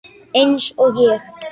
Eins og ég.